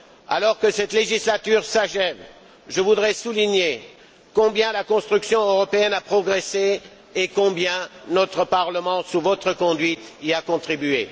Alors que cette législature s'achève, je voudrais souligner combien la construction européenne a progressé et combien notre Parlement, sous votre conduite, y a contribué.